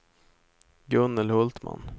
Gunnel Hultman